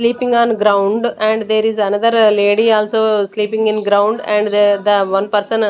sleeping on ground and there is another lady also sleeping in ground and they the one person --